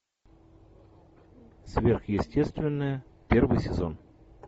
сверхестественное первый сезон